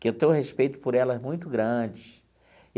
Que eu tenho respeito por elas muito grande.